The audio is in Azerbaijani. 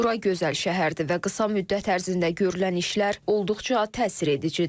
Bura gözəl şəhərdir və qısa müddət ərzində görülən işlər olduqca təsir edicidir.